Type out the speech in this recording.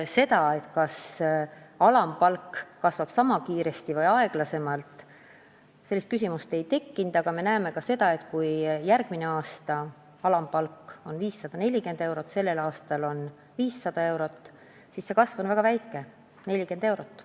Seda, kas alampalk kasvab sama kiiresti või aeglasemalt, ei küsitud, aga me ju näeme, et kui järgmisel aastal alampalk on 540 eurot, tänavu 500 eurot, siis kasv on väga väike: 40 eurot.